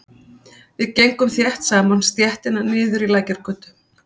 Við gengum þétt saman stéttina niður í Lækjargötu.